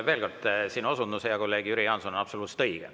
Veel kord: sinu osundus, hea kolleeg Jüri Jaanson, on absoluutselt õige.